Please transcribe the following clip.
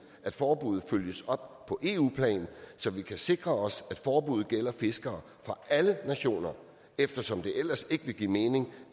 at forbuddet følges op på eu plan så vi kan sikre os at forbuddet gælder fiskere fra alle nationer eftersom det ellers ikke vil give mening